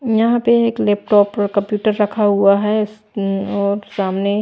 यहां पे एक लैपटॉप पर कंप्यूटर रखा हुआ है उम् और सामने--